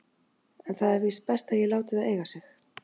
En það er víst best að ég láti það eiga sig.